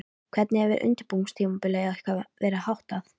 Hvernig hefur undirbúningstímabili ykkar verið háttað?